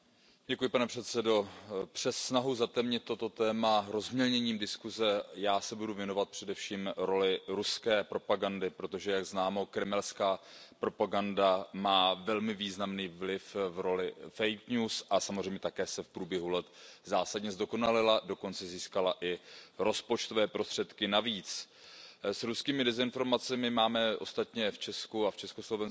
Pane předsedající, přes snahu zatemnit toto téma rozmělněním diskuse, já se budu věnovat především roli ruské propagandy, protože jak známo, kremelská propaganda má velmi významný vliv v roli fake news a samozřejmě se také v průběhu let zásadně zdokonalila, dokonce získala i rozpočtové prostředky navíc. S ruskými dezinformacemi máme ostatně v Česku a dříve v Československu